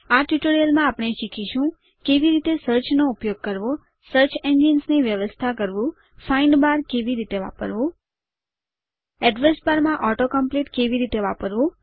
આ ટ્યુટોરીયલમાં આપણે શીખીશું કેવી રીતે સર્ચ નો ઉપયોગ કરવો સર્ચ એન્જિન્સ ની વ્યવસ્થા કરવું ફાઇન્ડ બાર કેવી રીતે વાપરવું એડ્રેસ બાર માં auto કોમ્પ્લીટ કેવી રીતે વાપરવું